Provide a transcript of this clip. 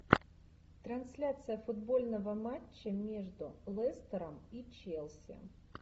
трансляция футбольного матча между лестером и челси